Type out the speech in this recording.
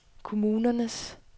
kommunernes